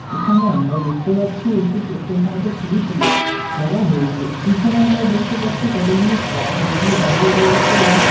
এখানে আমরা দেখতে পাচ্ছি একটি পেট্রোল পাম্পের ছবি তুলে ধরা হয়েছে। পিছনে আমরা দেখতে পাচ্ছি কতগুলি ট্রাক যেগুলি দাঁড়িয়ে রয়েছে। এবং ।